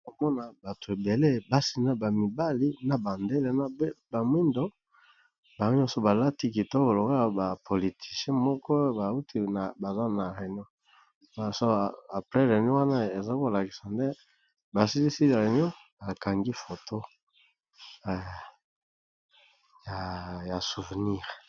bakomona bato ebele basi na bamibali na bandele na bamwindo banyo nyonso balati kitobo loga ya ba politicien moko bauti na baza na réunion asaprel reni wana eza kolakisa nde basilisi ya réunion bakangi foto ya souvenire